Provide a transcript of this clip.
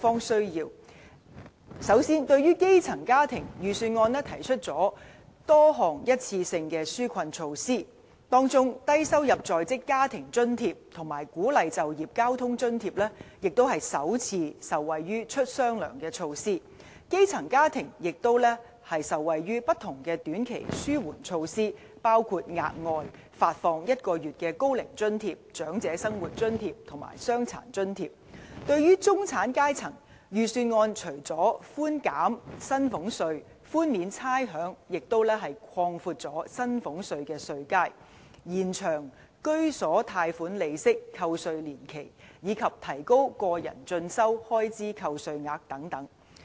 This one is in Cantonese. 首先，對於基層家庭，預算案提出多項一次性的紓困措施，當中低收入在職家庭津貼和鼓勵就業交通津貼也首次受惠於"出雙糧"措施，基層家庭也受惠於不同的短期紓緩措施，包括額外發放1個月高齡津貼、長者生活津貼和傷殘津貼。對於中產階層，預算案除了寬減薪俸稅、寬免差餉，也擴闊薪俸稅的稅階，延長居所貸款利息扣除年期，以及提高個人進修開支的最高扣除額等。